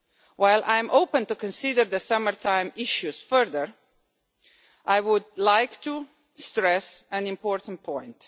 While I am open to consider the summer time issues further, I would like to stress an important point.